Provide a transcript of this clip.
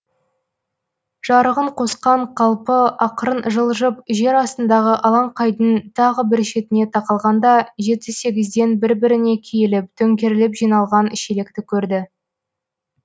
жарығын қосқан қалпы ақырын жылжып жер астындағы алаңқайдың тағы бір шетіне тақалғанда жеті сегізден бір біріне киіліп төңкеріліп жиналған шелекті көрді